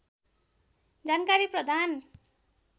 जानकारी प्रदान